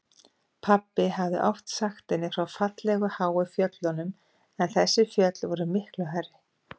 Pabbi hafði oft sagt henni frá fallegu háu fjöllunum en þessi fjöll voru miklu hærri.